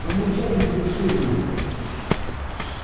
помурчать тут решил нахуй